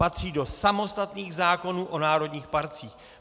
Patří do samostatných zákonů o národních parcích.